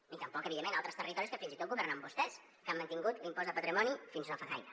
ni tampoc evidentment a altres territoris que fins i tot governen vostès que han mantingut l’impost de patrimoni fins no fa gaire